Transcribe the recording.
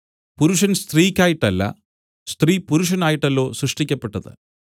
പുരുഷൻ സ്ത്രീക്കായിട്ടല്ല സ്ത്രീ പുരുഷനായിട്ടല്ലോ സൃഷ്ടിക്കപ്പെട്ടത്